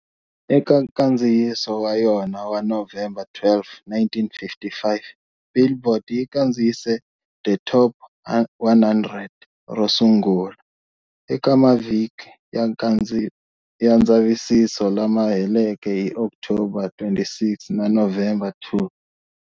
Eka nkandziyiso wa yona wa November 12, 1955, "Billboard" yi kandziyise The Top 100 ro sungula, eka mavhiki ya ndzavisiso lama heleke hi October 26 na November 2